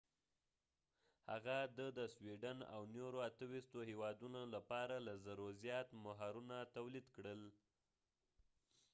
هغه د د سویډن او نورو 28 هیوادونو لپاره له 1000 زیات مهرونه تولید کړل